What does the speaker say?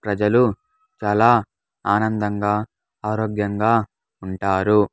ప్రజలు చాలా ఆనందంగా ఆరోగ్యంగా ఉంటారు.